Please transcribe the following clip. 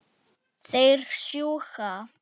Þeir sjúga.